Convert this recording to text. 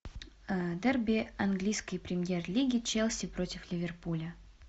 дерби английской премьер лиги челси против ливерпуля